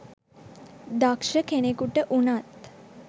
දක්ෂ කෙනෙකුට වුනත්